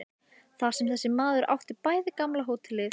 Þar sem þessi maður átti bæði gamla hótelið og